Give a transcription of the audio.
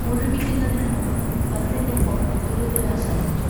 മുഴുമിക്കുന്നതിനു മുമ്പ് ബസ്സിന്റെ ഹോൺ തുരുതുരാ ശബ്ദിച്ചു.